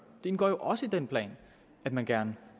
det indgår jo også i den plan at man gerne